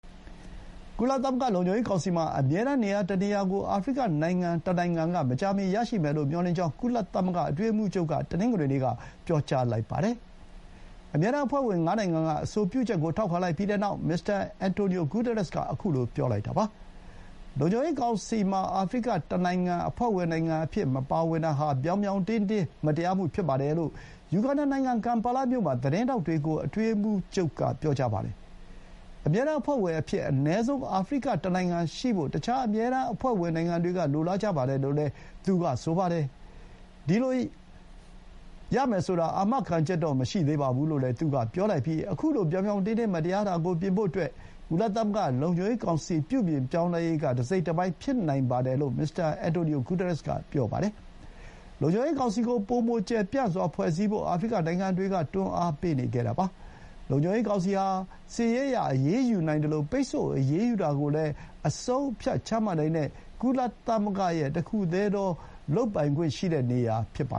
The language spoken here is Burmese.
ကုလသမဂ္ဂလုံခြုံရေးကောင်စီမှာ အမြဲတမ်းနေရာတနေရာကို အာဖရိကတနိုင်ငံက မကြာမီ ရရှိမယ်လို့မျှော်လင့်ကြောင်း ကုလသမဂ္ဂအတွင်းရေးမှူးချုပ်က တနင်္ဂနွေနေ့မှာ ပြောပါတယ်။ အမြဲတမ်းအဖွဲ့ဝင်ငါးနိုင်ငံက အဆိုပြုချက်ကို ထောက်ခံလိုက်ပြီးတဲ့နောက် မစ္စတာ အင်န်တိုနီယို ဂူတားရက်စ်က ခုလို ပြောလိုက်တာပါ။ လုံခြုံရေးကောင်စီမှာ အာဖရိကတနိုင်ငံ အဖွဲ့ဝင်နိုင်ငံအဖြစ် မပါဝင်တာဟာ ပြောင်ပြောင်တင်းတင်း မတရားမှုဖြစ်တယ်လို့ ယူဂန္ဓာနိုင်ငံ ကမ်ပါလာမြို့မှာ သတင်းထောက်တွေကို အတွင်းရေးမှူးချုပ်က ပြောပါတယ်။ အမြဲတမ်းအဖွဲ့ဝင်အဖြစ် အနည်းဆုံး အာဖရိကတနိုင်ငံရှိဖို့ တခြား အမြဲတမ်းအဖွဲ့ဝင်တွေက လိုလားကြပါတယ်လို့လည်း သူက ဆိုပါတယ်။ ဒီလိုရမယ်ဆိုတာ အာမခံချက်တော့ မရှိသေးပါဘူးလို့လည်း သူက ပြောလိုက်ပြီး ခုလို ပြောင်ပြောင်တင်းတင်း မတရားတာကိုပြင်ဖို့အတွက် ကုလသမဂ္ဂလုံခြုံရေးကောင်စီ ပြုပြင်ပြောင်းလဲရေးက တစိတ်တပိုင်းဖြစ်နိုင်ပါတယ်လို့ မစ္စတာ အင်န်တိုနီယို ဂူတားရက်စ်က ပြောပါတယ်။ လုံခြုံရေးကောင်စီကို ပိုမိုကျယ်ပြန့်စွာဖွဲ့စည်းဖို့ အာဖရိကနိုင်ငံတွေက တွန်းအားပေးနေခဲ့တာပါ။ လုံခြုံရေးကောင်စီဟာ စစ်ရေးအရ အရေးယူနိုင်သလို ပိတ်ဆို့အရေးယူတာကိုလည်း ဆုံးဖြတ်ချမှတ်နိုင်တဲ့ ကုလသမဂ္ဂရဲ့ တခုတည်းသော လုပ်ပိုင်ခွင့်နေရာဖြစ်ပါ